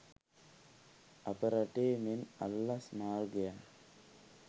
අප රටේ මෙන් අල්ලස් මාර්ගයෙන්